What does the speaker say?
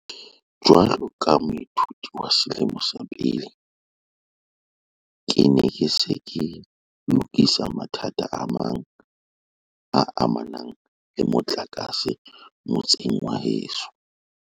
Jwalo ka moithuti wa selemo sa pele, ke ne ke se ke lokisa mathata a amanang le motlakase motseng wa heso.